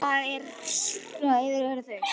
Það er verið að yfirheyra þau.